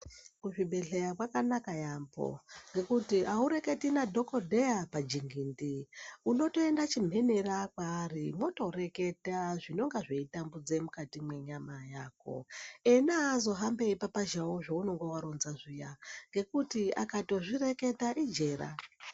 Kuzvibhedhleya kwakanaka yaambho ngekuti aureketi nadhokodheya pajingindi unotoenda chimhenera waari wotoreketa zvinonga zveitambudza mukati mwenyama yako ena aazohambi eipapazhawo zveunenge waronza zviya ngekuti akatozvireketa ijera.